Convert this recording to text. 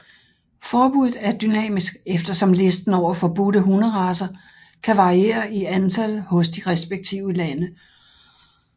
Forbuddet er dynamisk eftersom listen over forbudte hunderacer kan variere i antal hos de respektive lande